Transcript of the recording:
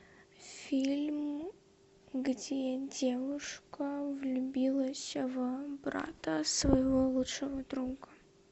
фильм где девушка влюбилась в брата своего лучшего друга